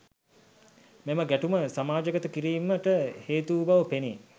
මෙම ගැටුම සමාජගත කිරීමට හේතු වූ බව පෙනේ